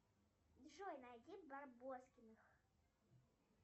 джой найди барбоскиных